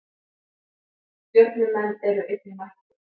Stjörnumenn eru einnig mættir.